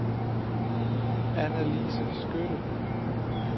Annalise Skytte